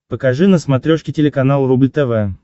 покажи на смотрешке телеканал рубль тв